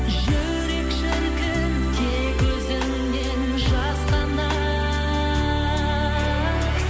жүрек шіркін тек өзіңнен жасқанар